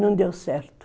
Não deu certo.